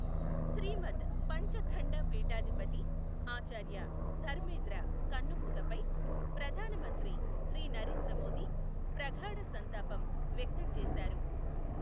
శ్రీమద్ పంచఖండ పీఠాధిపతి ఆచార్య ధర్మేంద్ర కన్నుమూతపై ప్రధానమంత్రి శ్రీ నరేంద్ర మోదీ ప్రగాఢ సంతాపం వ్యక్తం చేశారు.